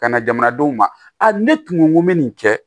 Ka na jamanadenw ma ne tun ko n ko n be nin kɛ